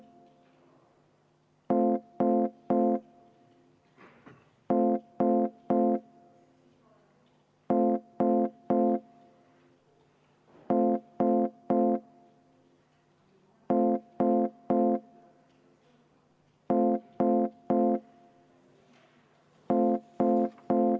Viime läbi hääletuse.